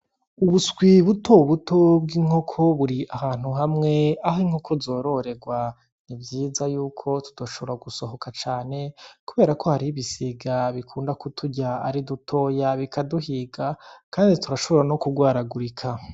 Uduswi butobuto bw'inkoko buri ahantu hamwe aho inkoko zororerwa. Ni vyiza yuko tutoshobora gusohoka canke kubera ko hariho ibisiga bikunda kuturya ari dutoya bikaduhiga mandi tugashobora no kugwaragurika.